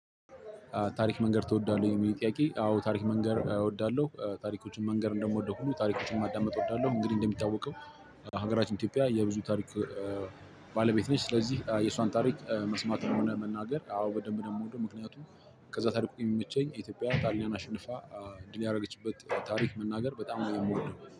ታሪክ መንገር ትወዳለህ? የሚል ጥያቄ አዎ ታሪክ መንገር እወዳለሁ እ ታሪኮችን መንገር እንደምወደው ሁሉ ታሪኮችን ማዳመጥ እወዳለሁ። እንግዲህ እንደሚታወቀው ሀገራችን ኢትዮጵያ የብዙ ታሪክ እ ባለቤት ነች። ስለዚህ የእሷን ታሪክ መስማትም ሆነ መናገር አዎ በደንብ ነው የምወደው። ምክንያቱም ከዛ ታሪኩ የሚመቸኝ የኢትዮጵያ ጣሊያን አሸንፋ ድል ያደረገችበት ታሪክ መናገር በጣም ነው የምወደው